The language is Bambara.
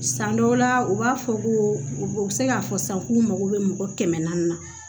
San dɔw la u b'a fɔ ko u bɛ se k'a fɔ sisan k'u mago bɛ mɔgɔ kɛmɛ naani na